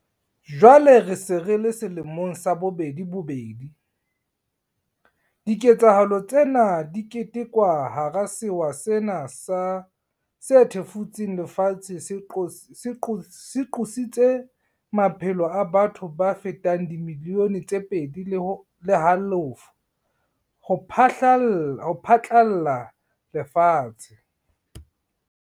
Jwale re se re le selemong sa bobedi bobedi, diketsahalo tsena di ketekwa hara sewa sena se thefutseng lefatshe se qositseng maphelo a batho ba fetang dimilione tse pedi le halofo ho phatlalla le lefatshe.